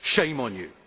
Shame on you,